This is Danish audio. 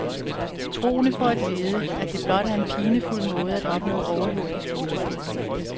Troende får at vide, at det blot er en pinefuld måde at opnå overjordisk lykke på.